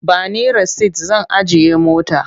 Ba ni rasit zan ajiye mota.